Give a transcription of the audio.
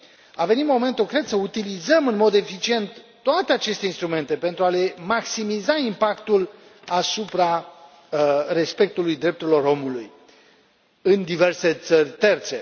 A venit momentul, cred, să utilizăm în mod eficient toate aceste instrumente pentru a le maximiza impactul asupra respectului drepturilor omului în diverse țări terțe.